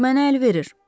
Bu mənə əl verir.